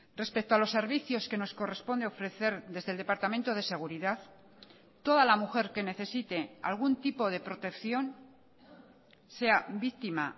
respecto a los servicios que nos corresponde ofrecer desde el departamento de seguridad toda la mujer que necesite algún tipo de protección sea víctima